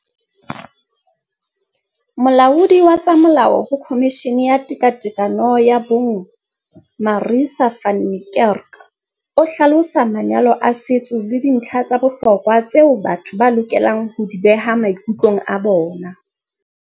Molaodi wa tsa molao ho Khomishini ya Tekatekano ya Bong Marissa van Niekerk o hlalosa manyalo a setso le dintlha tsa bohlokwa tseo batho ba lokelang ho di beha maikutlong a bona.